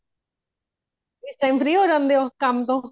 ਇਸ time free ਹੋ ਜਾਂਦੇ ਹੋ ਕਮ ਤੋਹ